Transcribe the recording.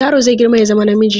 Yaro zai girma ya zama namiji.